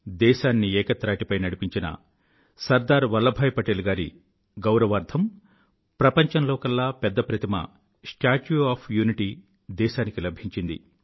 దేశాన్ని ఏకత్రాటిపై నడిపించిన సర్దార్ వల్లభాయ్ పటేల్ గారి గౌరవార్థం ప్రపంచంలోకెల్ల పెద్ద ప్రతిమ స్టాచ్యూ ఒఎఫ్ యూనిటీ దేశానికి లభించింది